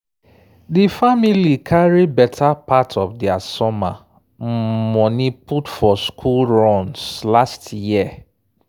“di family carry better part of dia summer um moni put for school runs last year.”